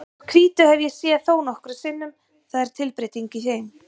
Þessar hvítu hef ég séð þónokkrum sinnum, það er tilbreyting í þeim.